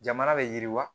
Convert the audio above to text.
Jamana bɛ yiriwa